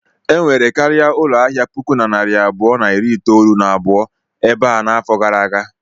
Enwere karịa ụlọ ahịa puku na narị abụọ na iri itolu na abụọ ebe a afọ gara aga.